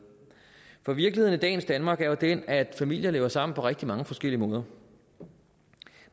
for virkeligheden i dagens danmark er jo den at familier lever sammen på rigtig mange forskellige måder